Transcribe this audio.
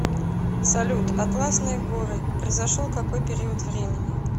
салют атласные горы произошел какой период времени